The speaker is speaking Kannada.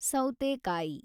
ಸೌತೆಕಾಯಿ